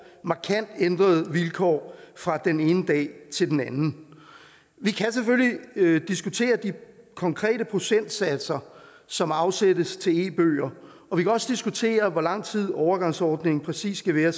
markant ændrede vilkår fra den ene dag til den anden vi kan selvfølgelig diskutere de konkrete procentsatser som afsættes til e bøger og vi kan også diskutere hvor lang tid overgangsordningen præcis skal være